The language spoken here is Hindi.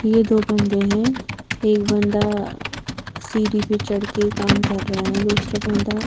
ये दो बंदे हैं एक बंदा सीढ़ी पे चढ़ के काम कर रहा है दूसरा बंदा--